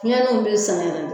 Fiɲɛninw bɛ san yɛrɛ de